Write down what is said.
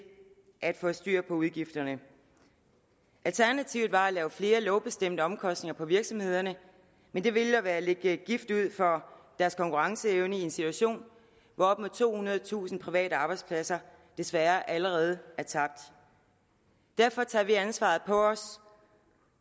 at få styr på udgifterne alternativet var at lægge flere lovbestemte omkostninger på virksomhederne men det ville være at lægge gift for deres konkurrenceevne i en situation hvor op mod tohundredetusind private arbejdspladser desværre allerede er tabt derfor tager vi ansvaret på os